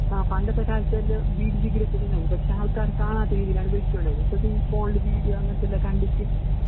ആ പണ്ടത്തെകാലത്ത്വല്ലൊ ബീഡിഗ്രിയെത്തീട്ടുണ്ടാവും പക്ഷെ ആൾക്കാര്കാണാത്തരീതീലാണ് വിളിച്ചോണ്ട്വന്നെ ഇപ്പത്തീ ഫോണില്ബീഡിയോഅങ്ങനെത്തെല്ലകണ്ടിട്ട്